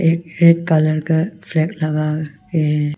एक red colour का flag लगा के है।